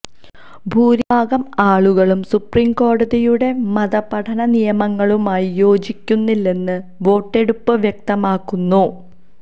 ഭൂരിഭാഗം ആളുകളും സുപ്രീം കോടതിയുടെ മതപഠന നിയമങ്ങളുമായി യോജിക്കുന്നില്ലെന്ന് വോട്ടെടുപ്പ് വ്യക്തമാക്കുന്നു